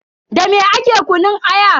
Dame ake kunun aya?